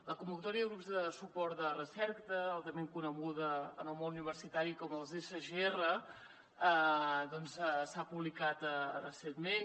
la convocatòria de grups de suport de recerca altrament coneguda en el món universitari com els sgr s’ha publicat recentment